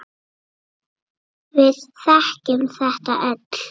Við þekkjum þetta öll.